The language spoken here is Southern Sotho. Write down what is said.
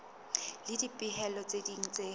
le dipehelo tse ding tse